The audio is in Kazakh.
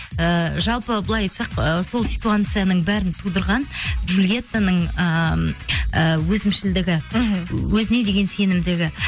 ііі жалпы былай айтсақ ы сол ситуацияның бәрін тудырған джулиеттаның ыыы өзімшілдігі мхм өзіне деген сенімділігі